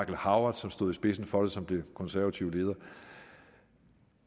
howard som stod i spidsen for det som den konservative leder og